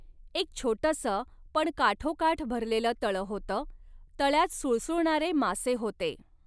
एक छोटसं पण काठोकाठ भरलेलं तळ होतं, तळयात सुळसुळणारे मासे होते.